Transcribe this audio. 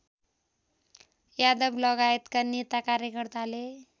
यादवलगायतका नेता कार्यकर्ताले